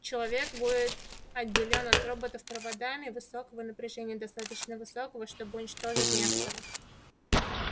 человек будет отделён от роботов проводами высокого напряжения достаточно высокого чтобы уничтожить нестора